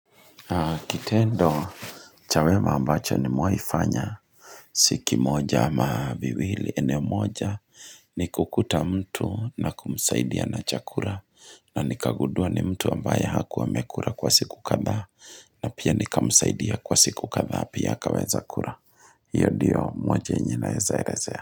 Kitendo cha wema ambacho nimewaifanya si kimoja ama viwili eneo moja ni kukuta mtu na kumsaidia na chakura na nikagudua ni mtu ambaye hakuwa amekura kwa siku kadhaa na pia nikamsaidia kwa siku kadhaa Pia akaweza kura hiyo ndiyo moja yenye naeza elezea.